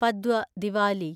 Padwa (Diwali)